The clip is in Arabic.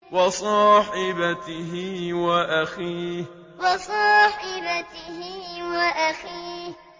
وَصَاحِبَتِهِ وَأَخِيهِ وَصَاحِبَتِهِ وَأَخِيهِ